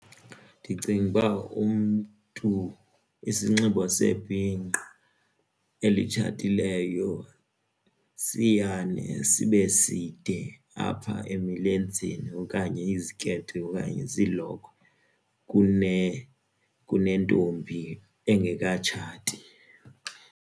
Ndicinguba umntu isinxibo sebhinqa elitshatileyo siyane sibe side apha emilenzeni okanye iziketi okanye zilokhwe kunentombi engekatshati.